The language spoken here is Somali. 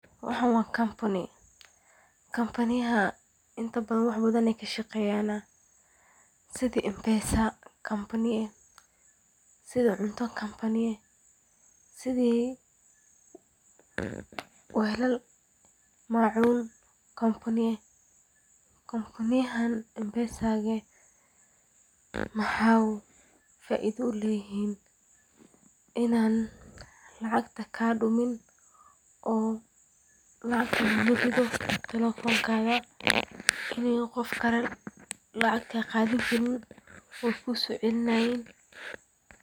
Waxaan waa kampani, wax badan ayeey ka shaqeeyan, sidi cunto, sidi weelal ama macuun kampani ah, waxeey faaido uleeyihiin inaay lacagta kaa dumin, in Qofkale lacag kaa qaadani Karin.